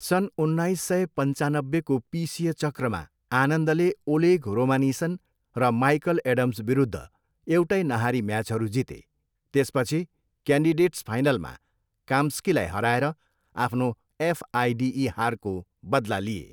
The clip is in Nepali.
सन् उन्नाइस सय पन्चानब्बेको पिसिए चक्रमा, आनन्दले ओलेग रोमानिसिन र माइकल एडम्सविरुद्ध एउटै नहारी म्याचहरू जिते, त्यसपछि क्यान्डिडेट्स फाइनलमा काम्स्कीलाई हराएर आफ्नो एफआइडिई हारको बदला लिए।